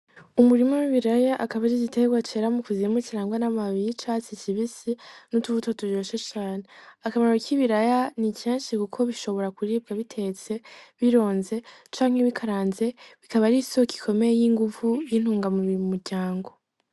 Umurima w’ibiraya akaba ari igiterwa cera mu kuzimu kirangwa n’amababi y’icatsi kibisi n’utubuto turyoshe cane . Akamaro k’ibiraya ni kenshi Kuko bishobora kuribwa ubitetse, bironze canke bikaranze, bikaba ari isoko ikomeye y’inguvu y’intungamubiri mu muryango.